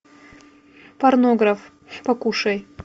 порнограф покушай